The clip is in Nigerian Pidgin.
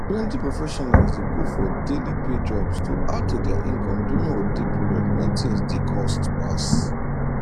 plenty professionals dey go for daily pay jobs to add to their income during holiday period when things dey cost pass